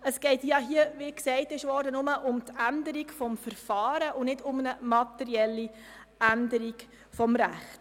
Es geht hier, wie bereits gesagt worden ist, nur um die Änderung des Verfahrens und nicht um eine materielle Änderung des Rechts.